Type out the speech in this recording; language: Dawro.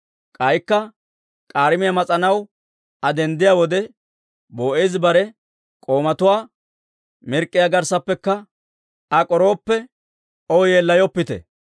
K'aykka k'aarimiyaa mas'anaw Aa denddiyaa wode, Boo'eezi bare k'oomatuwaa, «Pochchiyaa garssappekka Aa k'orooppekka, O yeellayoppite.